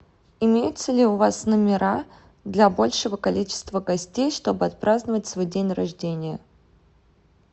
имеются ли у вас номера для большего количества гостей чтобы отпраздновать свой день рождения